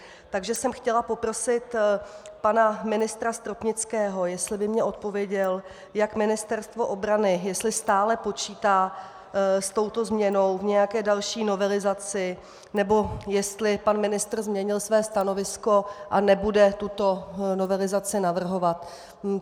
Takže jsem chtěla poprosit pana ministra Stropnického, jestli by mi odpověděl, jak Ministerstvo obrany, jestli stále počítá s touto změnou v nějaké další novelizaci, nebo jestli pan ministr změnil své stanovisko a nebude tuto novelizaci navrhovat.